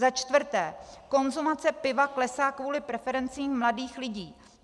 Za čtvrté, konzumace piva klesá kvůli preferencím mladých lidí.